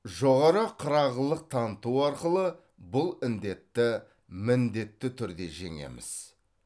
жоғары қырағылық таныту арқылы бұл індетті міндетті түрде жеңеміз